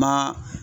Ma